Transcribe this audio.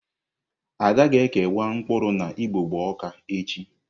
Ada ga-ekewa mkpụrụ na igbogbo ọka echi.